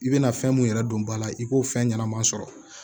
I bɛna fɛn mun yɛrɛ don ba la i k'o fɛn ɲɛnama sɔrɔ